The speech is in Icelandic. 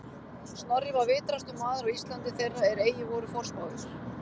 Snorri var vitrastur maður á Íslandi þeirra er eigi voru forspáir